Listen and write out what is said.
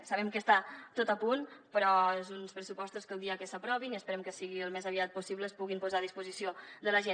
sabem que està tot a punt però són uns pressupostos que el dia que s’aprovin i esperem que sigui el més aviat possible es puguin posar a disposició de la gent